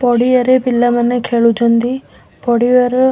ପଡ଼ିଆରେ ପିଲାମାନେ ଖେଳୁଚନ୍ତି। ପଡିଆର